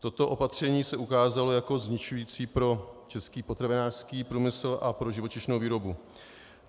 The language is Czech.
Toto opatření se ukázalo jako zničující pro český potravinářský průmysl a pro živočišnou výrobu.